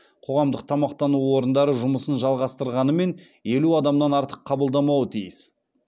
қоғамдық тамақтану орындары жұмысын жалғастырғанымен елу адамнан артық қабылдамауы тиіс